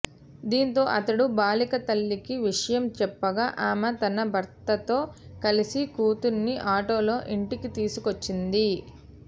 దీంతో అతడు బాలిక తల్లికి విషయం చెప్పగా ఆమె తన భర్తతో కలిసి కూతుర్ని ఆటోలో ఇంటికి తీసుకొచ్చింది